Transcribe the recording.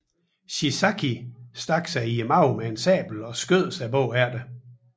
Shiizaki stak sig i maven med en sabel og skød sig herefter